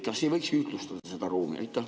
Kas ei võiks ühtlustada seda ruumi?